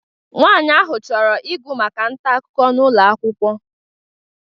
Nwaanyị ahụ chọrọ ịgụ maka ntaakụkọ n'ụlọ akwụkwọ